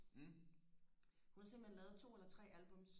hun har simpelthen lavet to eller tre albums